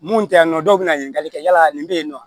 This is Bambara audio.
Mun tɛ yan nɔ dɔw bɛ na ɲininkali kɛ yala nin bɛ yen nɔ